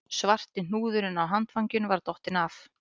Svarti hnúðurinn á handfanginu var dottinn af